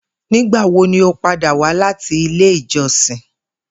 Nigbawo ni o pada wa lati ile ijọsin?